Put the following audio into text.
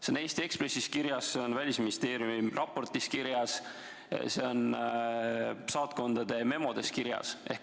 See on Eesti Ekspressis kirjas, see on Välisministeeriumi raportis kirjas, see on saatkondade memodes kirjas.